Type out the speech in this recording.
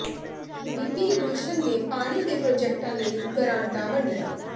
ਬੀਬੀ ਗੁਲਸ਼ਨ ਨੇ ਪਾਣੀ ਦੇ ਪ੍ਰਾਜੈਕਟਾਂ ਲਈ ਗਰਾਂਟਾਂ ਵੰਡੀਆਂ